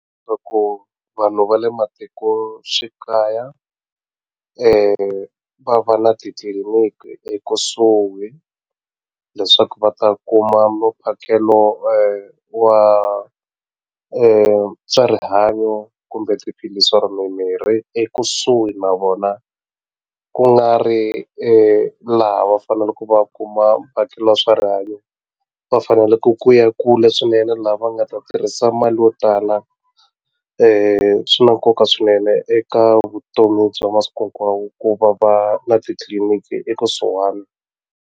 vanhu va le matikoxikaya va va na titliliniki ekusuhi leswaku va ta kuma mumphakelo wa swa rihanyo kumbe tiphilisi or mimirhi ekusuhi na vona ku nga ri laha va faneleke va kuma mphakelo wa swa rihanyo va faneleke ku ya kule swinene laha va nga ta tirhisa mali yo tala swi na nkoka swinene eka vutomi bya masiku hinkwawo ku va va na titliliniki ekusuhani.